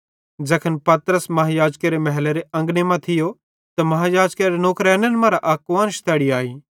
ज़ैखन पतरस महायाजकेरे महलेरे अंगने मां थियो त महायाजकेरे नौकरेनन मरां अक कुआन्श तैड़ी आई